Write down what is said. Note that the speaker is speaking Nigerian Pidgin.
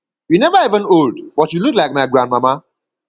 you never even old but you look like my grandmama